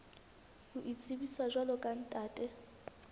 ho itsebisa jwalo ka ntate